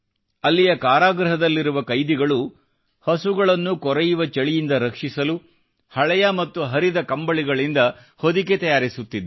ಅಲ್ಲಿಯ ಕಾರಾಗೃಹದಲ್ಲಿರುವ ಕೈದಿಗಳು ಹಸುಗಳನ್ನು ಕೊರೆಯುವ ಚಳಿಯಿಂದ ರಕ್ಷಿಸಲು ಹಳೆಯ ಮತ್ತು ಹರಿದ ಕಂಬಳಿಗಳಿಂದ ಹೊದಿಕೆ ತಯಾರಿಸುತ್ತಿದ್ದಾರೆ